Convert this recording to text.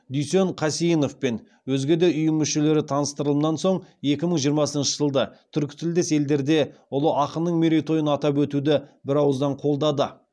дүйсен қасейінов пен өзге де ұйым мүшелері таныстырылымнан соң екі мың жиырмасыншы жылды түркі тілдес елдерде ұлы ақынның мерейтойын атап өтуді бір ауыздан қолдады